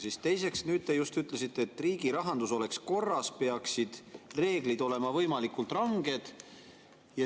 Ja teiseks, nüüd te just ütlesite, et selleks, et riigi rahandus oleks korras, peaksid reeglid olema võimalikult ranged.